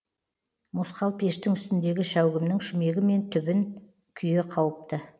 мосқал пештің үстіндегі шәугімнің шүмегі мен түбін күйе қауыпты